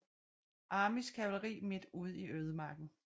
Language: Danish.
Armys kavalri midt ude i ødemarken